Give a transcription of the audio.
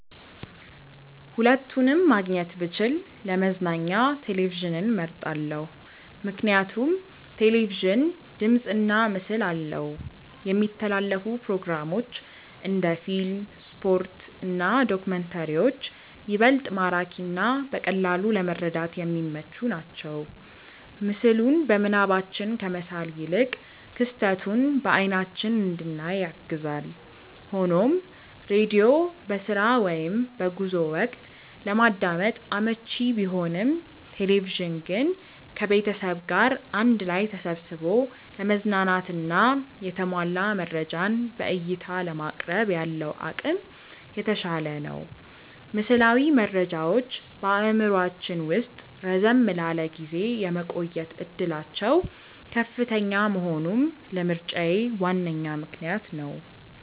ሁለቱንም ማግኘት ብችል ለመዝናኛ ቴሌቪዥንን መርጣለው። ምክንያቱም ቴሌቪዥን ድምፅና ምስል አለው፣ የሚተላለፉ ፕሮግራሞች (እንደ ፊልም፣ ስፖርት እና ዶክመንተሪዎች) ይበልጥ ማራኪና በቀላሉ ለመረዳት የሚመቹ ናቸው። ምስሉን በምናባችን ከመሳል ይልቅ ክስተቱን በአይናችን እንድናይ ያግዛል። ሆኖም ሬዲዮ በስራ ወይም በጉዞ ወቅት ለማዳመጥ አመቺ ቢሆንም፣ ቴሌቪዥን ግን ከቤተሰብ ጋር አንድ ላይ ተሰብስቦ ለመዝናናትና የተሟላ መረጃን በዕይታ ለማቅረብ ያለው አቅም የተሻለ ነው። ምስላዊ መረጃዎች በአእምሯችን ውስጥ ረዘም ላለ ጊዜ የመቆየት ዕድላቸው ከፍተኛ መሆኑም ለምርጫዬ ዋነኛ ምክንያት ነው።